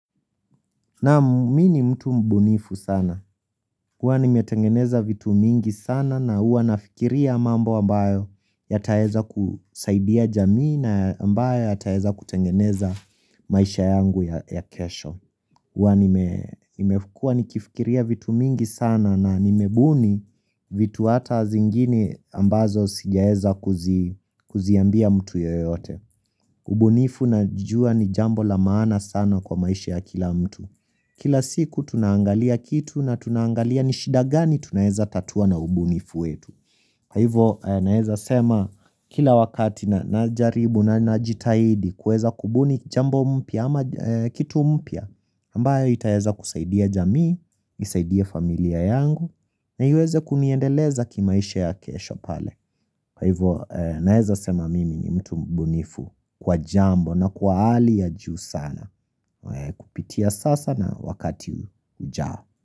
Nam mi ni mtu mbunifu sana. Huwa nimetengeneza vitu mingi sana na huwa nafikiria mambo ambayo yataeza kusaidia jamii na ambayo yataeza kutengeneza maisha yangu ya kesho. Huwa nimefukua nikifikiria vitu mingi sana na nimebuni vitu hata zingini ambazo sijaeza kuziambia mtu yoyote. Ubunifu najuwa ni jambo la maana sana kwa maisha ya kila mtu. Kila siku tunaangalia kitu na tunaangalia ni shida gani tunaeza tatua na ubunifu wetu Kwa hivyo naeza sema kila wakati najaribu najitahidi kuweza kubuni jambo mpya ama kitu mpya ambayo itaeza kusaidia jamii, isaidie familia yangu na iweze kuniendeleza kimaisha ya kesho pale Kwa hivyo naeza sema mimi ni mtu mbunifu kwa jambo na kwa hali ya juu sana Kupitia sasa na wakati ujao.